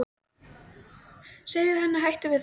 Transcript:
Segðu henni að hætta við það.